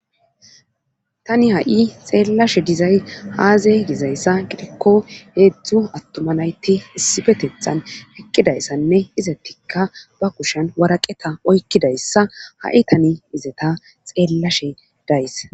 tani ha7i xeellashe dizay haaze dizayssa gidikko heedzdzu attoma laytti issibetethan eqqidayssanne izetikka ba kushan waraqeta oykkidayssa ha7i tani izeta xeellashe days